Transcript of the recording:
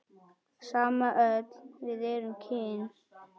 Sama öll við erum kyn.